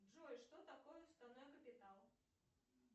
джой что такое уставной капитал